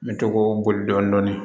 N bɛ to k'o boli dɔɔnin